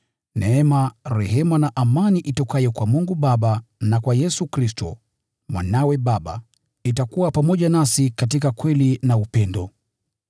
Neema, rehema na amani itokayo kwa Mungu Baba na kwa Yesu Kristo, Mwanawe Baba, itakuwa pamoja nasi katika kweli na upendo.